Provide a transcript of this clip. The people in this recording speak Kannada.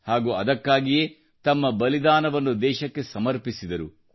ಹಾಗೂ ಅದಕ್ಕಾಗಿಯೇ ತಮ್ಮ ಬಲಿದಾನವನ್ನು ದೇಶಕ್ಕೆ ಸಮರ್ಪಿಸಿದರು